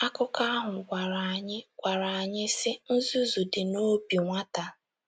Akụkọ ahụ gwara anyị gwara anyị, sị: “ Nzuzu dị n'obi nwata. ”